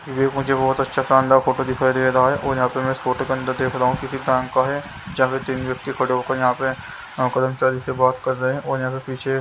ये मुझे बहोत अच्छा शानदार फोटो दिखाई दे रहा है और यहां पे मैं इस फोटो के अंदर देख रहा हूं किसी बैंक का है जहाँ पे तीन व्यक्ति खड़े होकर यहां पे से बात कर रहे हो और यहां पे पीछे--